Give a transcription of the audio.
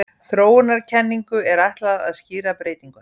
Þróunarkenningu er ætlað að skýra breytinguna.